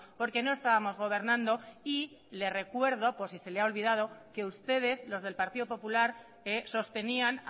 porque no estábamos gobernando y le recuerdo por si se le ha olvidado que ustedes los de el partido popular sostenían